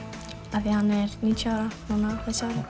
af því að hann er níutíu ára núna